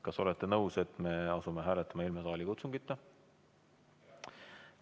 Kas olete nõus, et me asume hääletama ilma saalikutsungita?